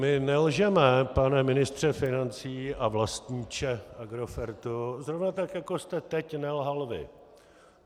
My nelžeme, pane ministře financí a vlastníče Agrofertu, zrovna tak jako jste teď nelhal vy.